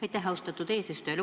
Aitäh, austatud eesistuja!